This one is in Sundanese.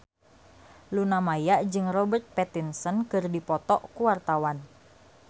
Luna Maya jeung Robert Pattinson keur dipoto ku wartawan